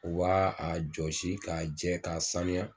U b'a a jɔsi k'a jɛ k'a sanuya